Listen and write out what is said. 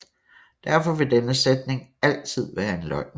Derfor vil denne sætning altid være en løgn